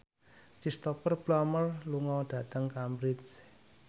Cristhoper Plumer lunga dhateng Cambridge